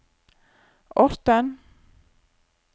Orten